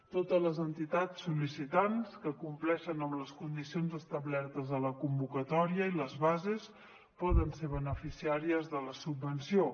totes les entitats sol·licitants que compleixen les condicions establertes a la convocatòria i les bases poden ser beneficiàries de la subvenció